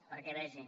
perquè ho vegi